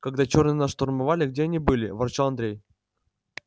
когда чёрные нас штурмовали где они были ворчал андрей